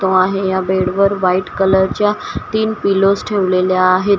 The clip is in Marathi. तो आहे या बेडवर व्हाईट कलरच्या तीन पिलोज ठेवलेल्या आहेत.